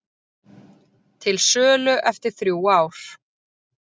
Til sölu eftir þrjú ár